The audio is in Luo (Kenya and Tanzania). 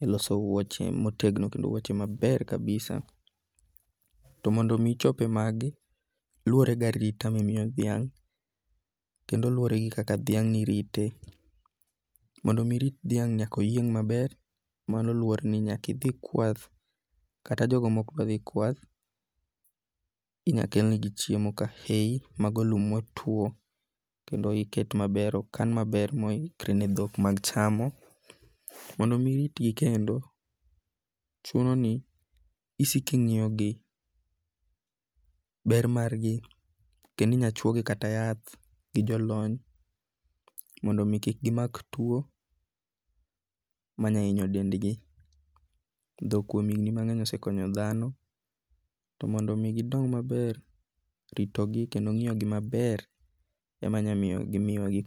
e loso wuoche motegno kendo wuoche maber kabisa. To mondi mi ichope magi, luwore gi arita ma imiyo dhiang' kendo luwore kaka dhiang' ni irite. Mondo mi irit dhiang' nyaka oyieng' maber. Mano luwore ni nyaka idhi kwath. Kata jogo mok dwa dhi kwath inyakelnegi chiemo ka hey. Mago lum motuo kendo iket maber okan maber mohikre ne dhok mag chamo. Mondo mi iritgi kendo chuno ni isik ing'iyo gi, ber mar gi kendo inya chwo gi kata yath gi jo lony mondo mi kik gimak tuo manya hinyo dendgi. Dhok kuom higni mang'eny osekonyo dhano. To mondo min gidong maber, ritogi kendo ng'iyo gi maber enyamiyo gimiwa